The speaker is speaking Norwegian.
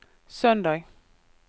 søndag